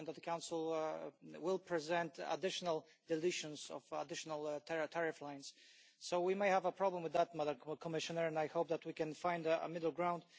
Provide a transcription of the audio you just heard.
I understand that the Council will present additional deletions of additional tariff lines, so we may have a problem with that, Madam Commissioner, and I hope that we can find a middle ground.